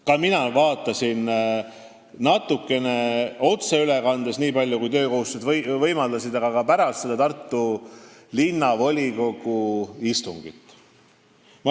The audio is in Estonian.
Ka mina vaatasin otseülekandes, nii palju kui töökohustused võimaldasid, aga vaatasin ka pärast seda Tartu Linnavolikogu istungit.